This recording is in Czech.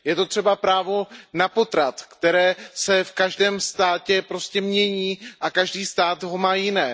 Je to třeba právo na potrat, které se v každém státě prostě mění a každý stát ho má jiné.